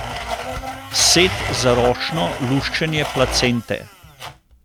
Set za ročno luščenje placente.